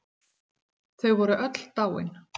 Þau voru öll dáin.